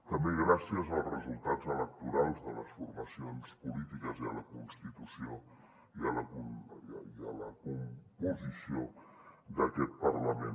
també gràcies als resultats electorals de les formacions polítiques i a la constitució i a la composició d’aquest parlament